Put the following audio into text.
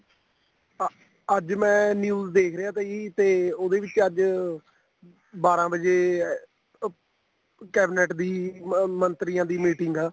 ਹਾਂ ਅੱਜ ਮੈਂ news ਦੇਖ ਰਿਹਾ ਤਾ ਜੀ ਤੇ ਉਹਦੇ ਵਿੱਚ ਅੱਜ ਬਾਰਾਂ ਵਜੇ ਉਹ cabinet ਦੀ ਮੰਤਰੀਆਂ ਦੀ meeting ਆ